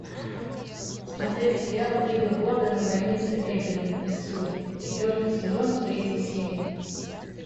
смотреть сериал три билборда на границе эббинга миссури четвертый сезон третья серия